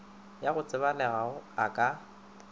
ya go tsebalega a ka